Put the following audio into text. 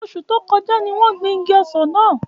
Oṣu to koja ni won gbin igi ọsan náa.